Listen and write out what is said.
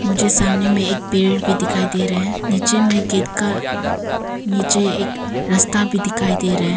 मुझे सामने में एक पेड़ भी दिखाई दे रहा है नीचे में गेट का नीचे एक रास्ता भी दिखाई दे रहा है।